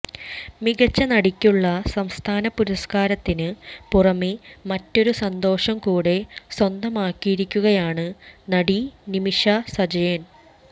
മികച്ച നടിക്കുള്ള സംസ്ഥാന പുരസ്കാരത്തിന് പുറമേ മറ്റൊരു സന്തോഷവും കൂടെ സ്വന്തമാക്കിയിരിക്കുകയാണ് നടി നിമിഷ സജയൻ